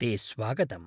ते स्वागतम्!